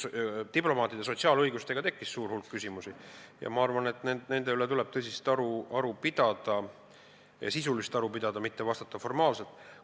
Diplomaatide sotsiaalõiguste kohta tekkis suur hulk küsimusi ja ma arvan, et järgmisel arutelul ja ka kahe lugemise vahel tuleb nende üle tõsist ja sisulist aru pidada, mitte neile formaalselt vastata.